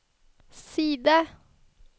side